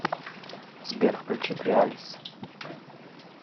сбер включи креалис